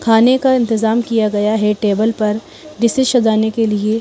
खाने का इंतजाम किया गया है टेबल पर डिसेस सजाने के लिए--